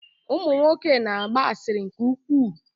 Ụmụ nwoke na-agba asịrị nke ukwuu.